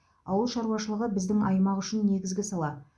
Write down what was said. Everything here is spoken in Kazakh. ауыл шаруашылығы біздің аймақ үшін негізгі сала